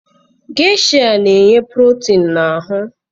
Gesha na-enye protin na ahụ.